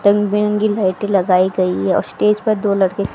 रंग बिरंगी लाइटे लगाई गई है और स्टेज पर दो लड़के--